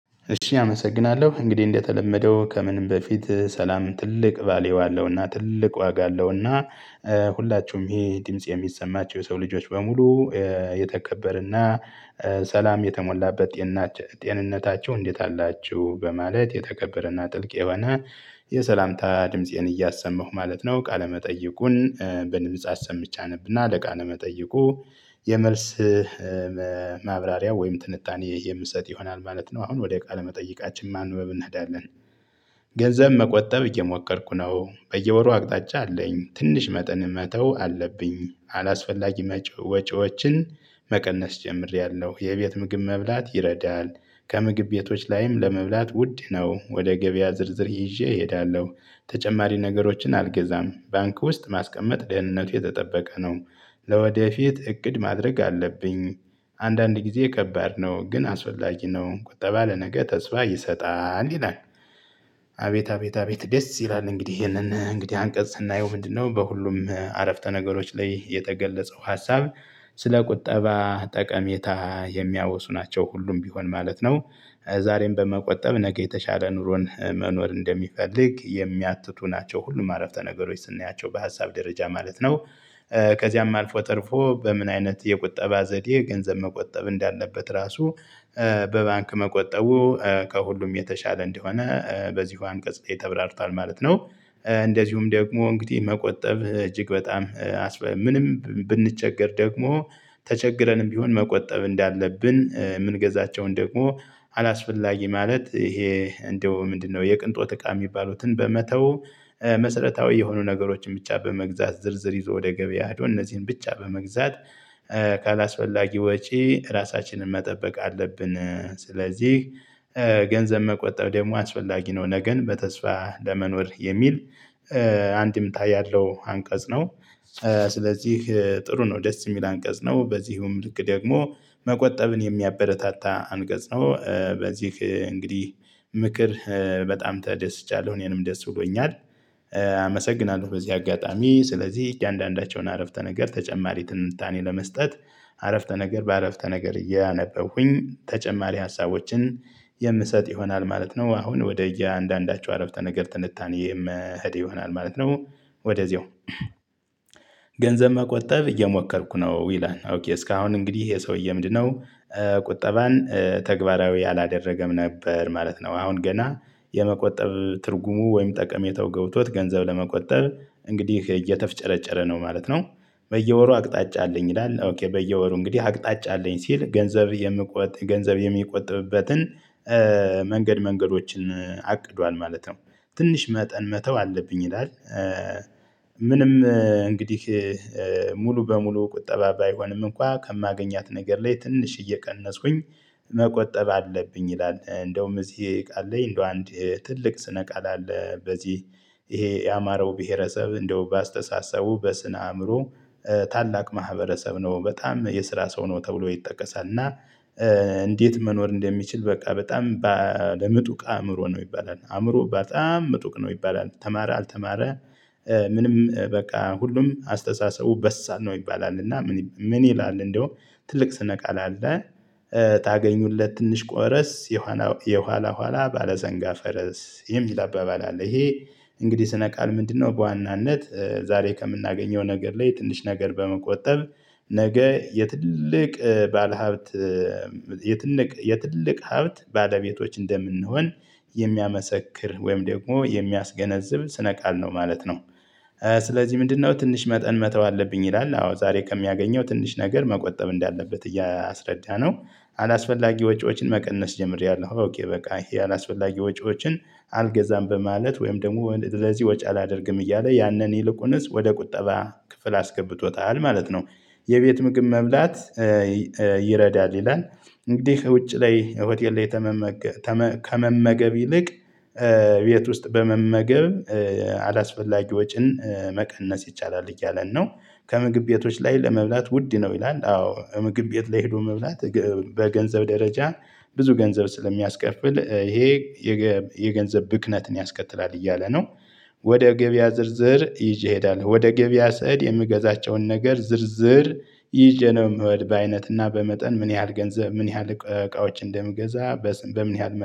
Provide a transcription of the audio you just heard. እሺ አመሰግናለሁ እንግዲህ እንደተለመደው ከምንም በፊት ሰላም ትልቅ አለውና ትልቅ ዋጋ አለውና። ሁላችሁም ይሄ ድምጽ የሚሰማችሁ የሰው ልጆች በሙሉ። የተከበርና ሰላም የተሞላበት ጤንነታችሁ እንዴት አላችሁ? በማለት የተከበረና ጥልቅ የሆነ የሰላምታ ድምፄን እያሰማሁ ማለት ነው ቃለመጠይቁን በድምጽ አሰምቼ አነብና ለቃለመጠይቁ የመልስ ማብራሪያ ወይም ትንታኔ የምሰጥ ይሆናል ማለት ነው። አሁን ወደ ቃለ መጠይቃችን ማንበብ እንሄዳለን። ገንዘብ መቆጠብ እየሞከርኩ ነው በየወሩ አቅጣጫ አለኝ ትንሽ መጠን መተው አለብኝ አላስፈላጊ ወጪዎችን መቀነስ ጀምሬያለሁ የቤት ምግብ መብላት ይረዳል። ከምግብ ቤቶች ላይም ለመብላት ውድ ነው። ወደ ገበያ ዝርዝር ይዤ እሄዳለሁ። ተጨማሪ ነገሮችን አልገዛም። ባንክ ውስጥ ማስቀመጥ ደህንነቱ የተጠበቀ ነው። ለወደፊት እቅድ ማድረግ አለብኝ። አንዳንድ ጊዜ ከባድ ነው ግን አስፈላጊ ነው ቁጠባ ለነገ ተስፋ ይሰጣል ይላል። አቤት አቤት አቤት ደስ ይላል። እንግዲህ ይሄንን እንግዲህ አንቀጽ ስናየው ምንድነው? በሁሉም አረፍተ ነገሮች ላይ የተገለጸው ሀሳብ። ስለ ቁጠባ ጠቀሜታ የሚያወሱ ናቸው ሁሉም ቢሆን ማለት ነው። ዛሬም በመቆጠብ ነገ የተሻለ ኑሮን መኖር እንደሚፈልግ የሚያትቱ ናቸው ሁሉም አረፍተ ነገሮች ስናያቸው በሀሳብ ደረጃ ማለት ነው። ከዚያም አልፎ ተርፎ በምን አይነት የቁጠባ ዘዴ ገንዘብ መቆጠብ እንዳለበት ራሱ። በባንክ መቆጠቡ ከሁሉም የተሻለ እንደሆነ በዚሁ አንቀጽ ላይ ተብራርቷል ማለት ነው። እንደዚሁም ደግሞ እንግዲህ መቆጠብ እጅግ በጣም ምንም ብንቸገር ደግሞ ተቸግረንም ቢሆን መቆጠብ እንዳለብን የምንገዛቸውን ደግሞ አላስፈላጊ ማለት ይሄ እንደው ምንድነው የቅንጦት እቃ የሚባሉትን በመተው። መሰረታዊ የሆኑ ነገሮችን ብቻ በመግዛት ዝርዝር ይዞ ወደ ገበያ ሄዶ እነዚህን ብቻ በመግዛት ካላስፈላጊ ወጪ ራሳችንን መጠበቅ አለብን። ስለዚህ ገንዘብ መቆጠብ ደግሞ አስፈላጊ ነው። ነገን በተስፋ ለመኖር የሚል አንደምታ ያለው አንቀጽ ነው። ስለዚህ ጥሩ ነው ደስ የሚል አንቀጽ ነው። በዚህም ልክ ደግሞ መቆጠብን የሚያበረታታ አንቀጽ ነው። በዚህ እንግዲህ ምክር በጣም ተደስቻለሁ እኔንም ደስ ብሎኛል። አመሰግናለሁ በዚህ አጋጣሚ ስለዚህ እያንዳንዳቸውን አረፍተ ነገር ተጨማሪ ትንታኔ ለመስጠት አረፍተ ነገር በአረፍተ ነገር እያነበብኩኝ ተጨማሪ ሀሳቦችን የምሰጥ ይሆናል ማለት ነው። አሁን ወደ እያንዳንዳቸው አረፍተ ነገር ትንታኔ የምሄድ ይሆናል ማለት ነው። ወደዚያው ገንዘብ መቆጠብ እየሞከርኩ ነው ይላል ኦኬ እስካሁን እንግዲህ ይሄ ሰውዬ ምንድነው? ቁጠባን ተግባራዊ አላደረገም ነበር ማለት ነው። አሁን ገና የመቆጠብ ትርጉሙ ወይም ጠቀሜታው ገብቶት ገንዘብ ለመቆጠብ እንግዲህ እየተፍጨረጨረ ነው ማለት ነው። በየወሩ አቅጣጫ አለኝ ይላል በየወሩ እንግዲህ አቅጣጫ አለኝ ሲል ገንዘብ የምቆጥብ ገንዘብ የሚቆጥብበትን መንገድ መንገዶችን አቅዷል ማለት ነው። ትንሽ መጠን መተው አለብኝ ይላል። ምንም እንግዲህ ሙሉ በሙሉ ቁጠባ ባይሆንም እንኳን ከማገኛት ነገር ላይ ትንሽ እየቀነስኩኝ መቆጠብ አለብኝ ይላል። እንደውም እዚህ ቃል ላይ እንደው አንድ ትልቅ ስነ ቃል አለ። በዚህ ይሄ ያማረው ብሄረሰብ እንደው በአስተሳሰቡ በስነ አእምሮው ታላቅ ማህበረሰብ ነው። በጣም የስራ ሰው ነው ተብሎ ይጠቀሳል እና። እንዴት? መኖር እንደሚችል በቃ በጣም ለምጡቅ አእምሮ ነው ይባላል። አእምሮ በጣም መጡቅ ነው ይባላል። ተማረ አልተማረ። ምንም በቃ ሁሉም አስተሳሰቡ በሳል ነው ይባላል። እና ምን ይላል እንደያዉም ትልቅ ስነ ቃል አለ። ታገኙለት ትንሽ ቆረስ የኋላ የኋላ ኋላ ባለሰንጋ ፈረስ የሚል አባባል አለ። ይሄ እንግዲህ ስነ ቃል ምንድነው? በዋናነት ዛሬ ከምናገኘው ነገር ላይ ትንሽ ነገር በመቆጠብ ነገ የትልቅ ባለሀብት የትልቅ የትልቅ ሀብት ባለቤቶች እንደምንሆን የሚያስመሰክር ወይም ደግሞ የሚያስገነዝብ ስነ ቃል ነው ማለት ነው። ስለዚህ ምንድነው? ትንሽ መጠን መተው አለብኝ ይላል አዎ ዛሬ ከሚያገኘው ትንሽ ነገር መቆጠብ እንዳለበት እያስረዳነው አላስፈላጊ ወጪዎችን መቀነስ ጀምሬያለሁ። ኦኬ በቃ ይሄ አላስፈላጊ ወጪዎችን አልገዛም በማለት ወይም ደግሞ ለዚህ ወጪ አላደርግም እያለ ያንን ይልቁንስ ወደ ቁጠባ ክፍል አስገብቶታል ማለት ነው። የቤት ምግብ መብላት ይረዳል ይላል። እንግዲህ ከውጭ ላይ ሆቴል ላይ ከመመገብ ይልቅ ቤት ውስጥ በመመገብ አላስፈላጊ ወጪን መቀነስ ይቻላል እያለን ነው። ከምግብ ቤቶች ላይ ለመብላት ውድ ነው ይላል። አዎ ምግብ ቤት ላይ ሄዶ መብላት በገንዘብ ደረጃ ብዙ ገንዘብ ስለሚያስከፍል ይሄ የገንዘብ ብክነትን ያስከትላል እያለ ነው። ወደ ገበያ ዝርዝር ይዤ እሄዳለሁ ወደ ገበያ ስሄድ የምገዛቸውን ነገር ዝርዝር ይዤ ነው። የምሄድ በአይነትና በመጠን ምን ያህል ገንዘብ ምን ያህል እቃዎች እንደምገዛ በምን ያህል